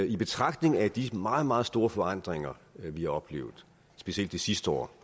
i betragtning af de meget meget store forandringer vi har oplevet specielt det sidste år